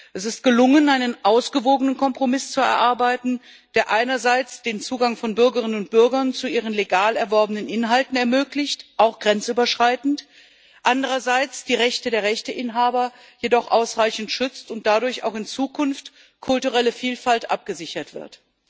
Es ist gelungen, einen ausgewogenen Kompromiss zu erarbeiten, der einerseits den Zugang von Bürgerinnen und Bürgern zu ihren legal erworbenen Inhalten ermöglicht auch grenzüberschreitend andererseits die Rechte der Rechteinhaber jedoch ausreichend schützt, wodurch auch in Zukunft kulturelle Vielfalt abgesichert wird.